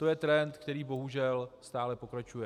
To je trend, který bohužel stále pokračuje.